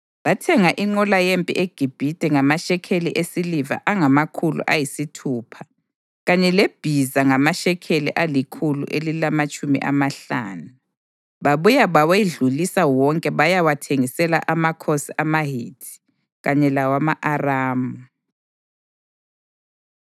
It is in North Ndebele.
Bathenga inqola yempi eGibhithe ngamashekeli esiliva angamakhulu ayisithupha kanye lebhiza ngamashekeli alikhulu elilamatshumi amahlanu. Babuya bawedlulisa wonke bayawathengisela amakhosi amaHithi kanye lawama-Aramu.